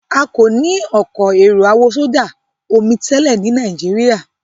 A kọ ní Ọkọ̀ èrò àwọ̀sọdá-omi tẹlẹ ní Nàìjíríà.